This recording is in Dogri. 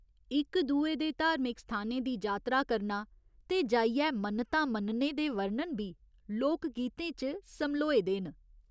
इक दुए दे धार्मिक स्थानें दी जात्तरा करना ते जाइयै मन्नता मन्नने दे वर्णन बी लोक गीतें च समल्होए दे न।